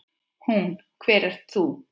Hún: Hver ert þú?